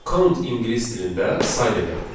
Count ingilis dilində say deməkdir.